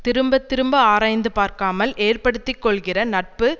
திரும்ப திரும்ப ஆராய்ந்து பார்க்காமல் ஏற்படுத்தி கொள்கிற நட்பு